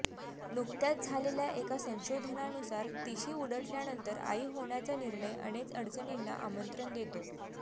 नुकत्याच झालेल्या एका संशोधनानुसार तिशी उलटल्यानंतर आई होण्याचा निर्णय अनके अडचणींना आमंत्रण देतो